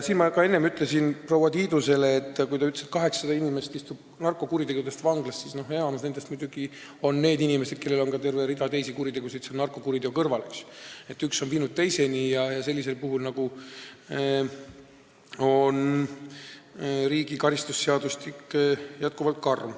Ma enne ütlesin proua Tiidusele, kes ütles, et 800 inimest istub narkokuritegude eest vanglas, et enamik nendest on muidugi inimesed, kes on toime pannud ka terve rea teisi kuritegusid narkokuritegude kõrval, üks asi on viinud teiseni ja sellisel puhul on karistusseadustik jätkuvalt karm.